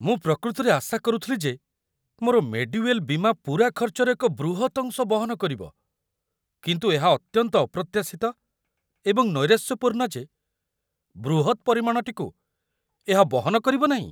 ମୁଁ ପ୍ରକୃତରେ ଆଶା କରୁଥିଲି ଯେ ମୋର 'ମେଡିୱେଲ୍' ବୀମା ପୂରା ଖର୍ଚ୍ଚର ଏକ ବୃହତ୍ ଅଂଶ ବହନ କରିବ। କିନ୍ତୁ ଏହା ଅତ୍ୟନ୍ତ ଅପ୍ରତ୍ୟାଶିତ ଏବଂ ନୈରାଶ୍ୟପୂର୍ଣ୍ଣ ଯେ ବୃହତ୍ ପରିମାଣଟିକୁ ଏହା ବହନ କରିବନାହିଁ ।